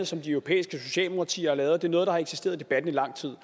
som de europæiske socialdemokratier har lavet og det er noget der har eksisteret i debatten i lang tid